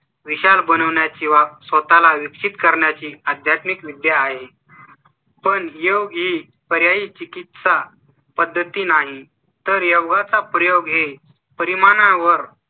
विशाल बनवण्या ची वा स्वतः ला विकसित करण्याची आध्यात्मिक विद्या आहे . पण योगी पर्यायी चिकित्सा पद्धती नाही तर योगा चा प्रयोग हे परिमाणा वर